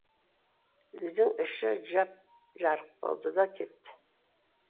үйдің іші жап жарық болды да кетті